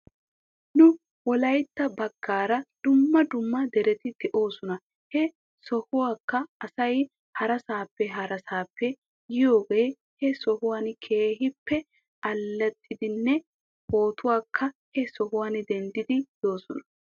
Nu wolaytta bagaara dumma dumma dereti de'oosona he sohuwaakka asay harasaappe harasaappe yiyooga he sohuwan keehippe allaxiidinne pootuwaaka he sohuwan denddidi yoosona.